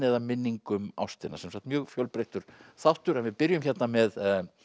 eða minning um ástina sem sagt mjög fjölbreyttur þáttur við byrjum með